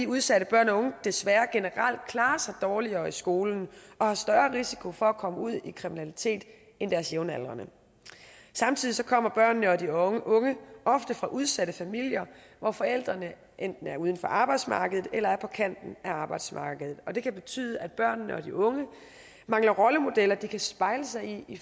udsatte børn og unge desværre generelt klarer sig dårligere i skolen og har større risiko for at komme ud i kriminalitet end deres jævnaldrende samtidig kommer børnene og de unge ofte fra udsatte familier hvor forældrene enten er uden for arbejdsmarkedet eller er på kanten af arbejdsmarkedet og det kan betyde at børnene og de unge mangler rollemodeller de kan spejle sig i i